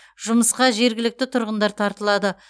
жұмысқа жергілікті тұрғындар тартылады